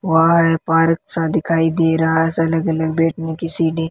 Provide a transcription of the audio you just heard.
वहा है परीक्षा दिखाई दे रहा है से अलग अलग बैठने की सीटें ।